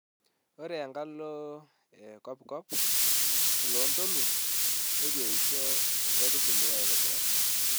Ore enkalo e kop kop olloontoluo neitu eisho nkaitubulu aitobiraki.